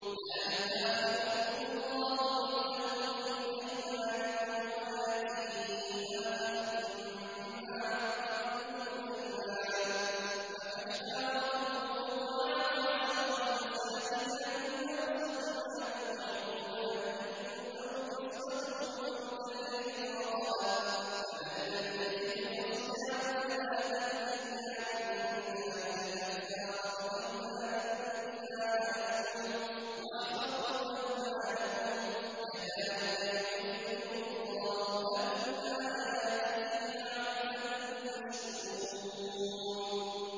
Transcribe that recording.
لَا يُؤَاخِذُكُمُ اللَّهُ بِاللَّغْوِ فِي أَيْمَانِكُمْ وَلَٰكِن يُؤَاخِذُكُم بِمَا عَقَّدتُّمُ الْأَيْمَانَ ۖ فَكَفَّارَتُهُ إِطْعَامُ عَشَرَةِ مَسَاكِينَ مِنْ أَوْسَطِ مَا تُطْعِمُونَ أَهْلِيكُمْ أَوْ كِسْوَتُهُمْ أَوْ تَحْرِيرُ رَقَبَةٍ ۖ فَمَن لَّمْ يَجِدْ فَصِيَامُ ثَلَاثَةِ أَيَّامٍ ۚ ذَٰلِكَ كَفَّارَةُ أَيْمَانِكُمْ إِذَا حَلَفْتُمْ ۚ وَاحْفَظُوا أَيْمَانَكُمْ ۚ كَذَٰلِكَ يُبَيِّنُ اللَّهُ لَكُمْ آيَاتِهِ لَعَلَّكُمْ تَشْكُرُونَ